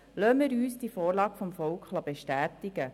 Lassen wir uns diese Vorlage vom Volk bestätigen.